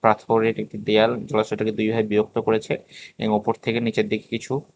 পাথরের একটি দেয়াল জলাশয়টাকে দুইভাগে বিভক্ত করেছে এবং ওপর থেকে নিচের দিকে কিছু--